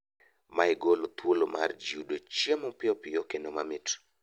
Mae golo thuolo mar jii yudo chiemo piyopiyo kendo mamit